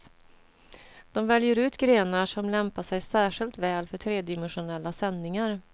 De väljer ut grenar som lämpar sig särskilt väl för tredimensionella sändningar.